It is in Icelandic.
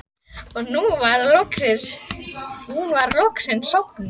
Og nú var hún loksins sofnuð.